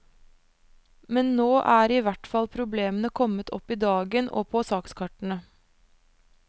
Men nå er i hvert fall problemene kommet opp i dagen og på sakskartene.